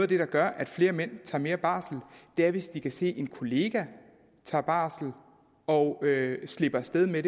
der gør at flere mænd tager mere barsel er hvis de kan se at en kollega tager barsel og slipper af sted med